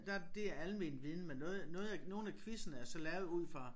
Der det almen viden men noget noget af nogle af quizzerne er så lavet ud fra